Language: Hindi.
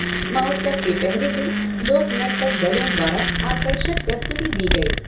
महोत्सव के पहले दिन लोक नर्तक दलों द्वारा आकर्षक प्रस्तुति दी गई।